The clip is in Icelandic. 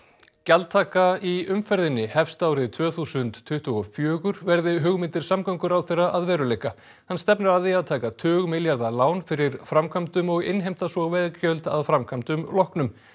gjaldtaka í umferðinni hefst árið tvö þúsund tuttugu og fjögur verði hugmyndir samgönguráðherra að veruleika hann stefnir að því að taka tugmilljarða lán fyrir framkvæmdum og innheimta svo veggjöld að framkvæmdum loknum